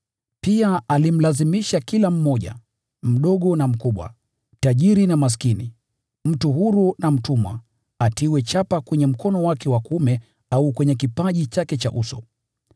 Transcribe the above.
Pia alimlazimisha kila mmoja, mdogo na mkubwa, tajiri na maskini, mtu huru na mtumwa, atiwe chapa kwenye mkono wake wa kuume au kwenye kipaji chake cha uso,